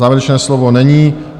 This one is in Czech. Závěrečné slovo není.